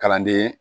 Kalanden